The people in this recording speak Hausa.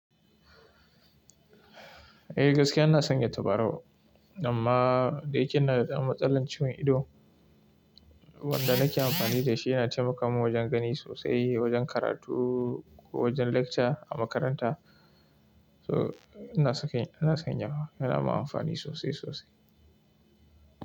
Eh gaskiya ina son ya tabarau, amma dai kin na da matsalan ciwon ido. Wanda nake amfani da shi yana taimakawa wajen gani sosai, wajen karatu ko wajen lecture a makaranta. So ina saka shi ina son yawa, yana yi min amfani sosai sosai.